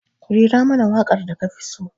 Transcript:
Rera mana waƙar da kafi so.